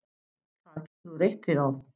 Það getur þú reitt þig á.